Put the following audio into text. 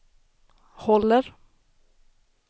håller